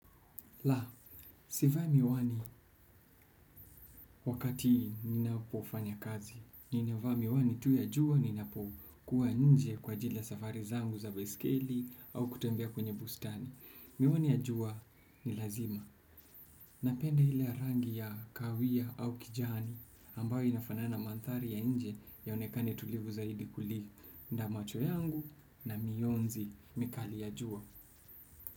La, sivai miwani wakati ninapofanya kazi. Ninavaa miwani tu ya jua ninapokuwa nje kwa ajili ya safari zangu za baiskeli au kutembea kwenye bustani miwani ya jua ni lazima. Napenda ile rangi ya kawia au kijani ambayo inafanana mandhari ya nje yaonekane tulivu zaidi kuli nda macho yangu na mionzi mikali ya jua.